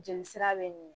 Jeli sira be minɛ